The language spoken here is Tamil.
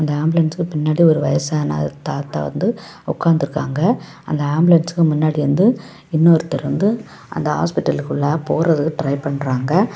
ஆம்புலன்ஸ்க்கு பின்னாடி ஒரு வயசான தாத்தா வந்து உக்காட்ருக்காங்க. அந்த ஆம்புலன்ஸ்க்கு முன்னாடி வந்து இன்னொருத்தர் வந்து அந்த ஹாஸ்பிடலுக்கு போக ட்ரை பண்றாங்க.